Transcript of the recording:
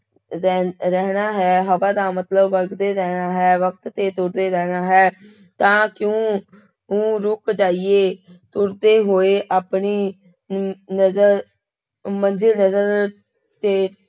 ਰਹਿ ਰਹਿਣਾ ਹੈ ਹਵਾ ਦਾ ਮਤਲਬ ਵਗਦੇ ਰਹਿਣਾ ਹੈ, ਵਕਤ ਤੇ ਤੁਰਦੇ ਰਹਿਣਾ ਹੈ, ਤਾਂ ਕਿਉਂ ਊਂ ਰੁੱਕ ਜਾਈਏ, ਤੁਰਦੇ ਹੋਏ ਆਪਣੀ ਅਮ ਨਜ਼ਰ ਮੰਜ਼ਿਲ ਨਜ਼ਰ ਤੇ